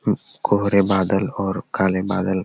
कोहरे बादल और काले बादल --